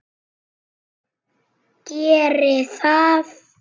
Geri það!